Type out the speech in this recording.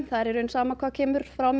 það er í rauninni sama hvað kemur frá